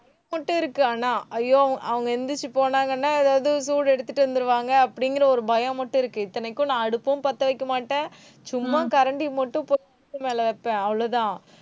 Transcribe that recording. இருக்கு ஆனா ஐயோ அவங்க எந்திரிச்சு போனாங்கன்னா அதாவது சூடு எடுத்துட்டு வந்துருவாங்க அப்படிங்கற ஒரு பயம் மட்டும் இருக்கு. இத்தனைக்கும் நான் அடுப்பும் பத்த வைக்க மாட்டேன். சும்மா கரண்டி மட்டும் மேல வைப்பேன் அவ்வளவுதான்